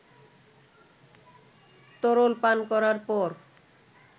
তরল পান করার পর